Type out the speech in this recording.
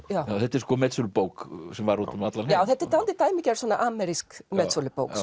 þetta er metsölubók sem var út um allan heim þetta er dálítið dæmigerð amerísk metsölubók